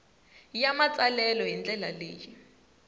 ya matsalelo hi ndlela leyi